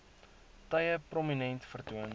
tye prominent vertoon